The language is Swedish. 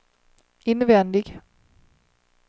invändig